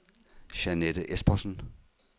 Jeanette Espersen